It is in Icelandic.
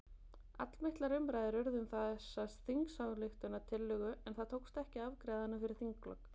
Allmiklar umræður urðu um þessa þingsályktunartillögu en það tókst ekki að afgreiða hana fyrir þinglok.